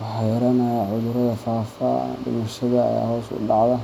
waxaa yaraanaya cudurrada faafa, dhimashada ayaa hoos u dhacda,